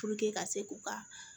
ka se k'u ka